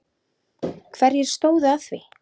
Hverjir stóðu að því?